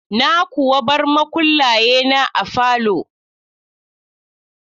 Na kuwa bar makullaye na a falo?